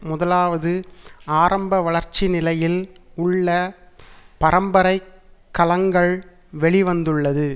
முதலாவது ஆரம்ப வளர்ச்சி நிலையில் உள்ள பரம்பரை கலங்கள் வெளி வந்துள்ளது